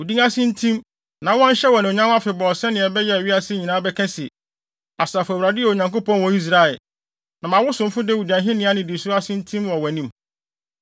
Wo din ase ntim, na wɔnhyɛ no anuonyam afebɔɔ sɛnea ɛbɛyɛ a wiase nyinaa bɛka se, ‘Asafo Awurade yɛ Onyankopɔn wɔ Israel!’ Na ma wo somfo Dawid ahenni nnidiso no ase ntim wɔ wʼanim.